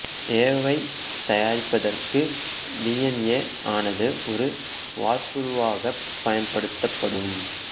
ஏ வைத் தயாரிப்பதற்கு D N A ஆனது ஒரு வார்ப்புருவாகப் பயன்படுத்தப்படும்